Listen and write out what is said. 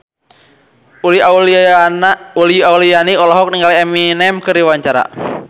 Uli Auliani olohok ningali Eminem keur diwawancara